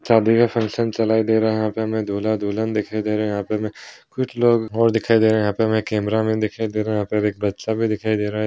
शादी का फंक्शन चलाई दे रहा है यहां पे हमें दूल्हा दुल्हन दिखाई दे रही है यहां पे हमें कुछ लोग और दिखाई दे रहे हैं यहां पर हमें कैमरा मैन दिखाई दे रहा हैऔर यहां पे एक बच्चा भी दिखाई दे रहा है।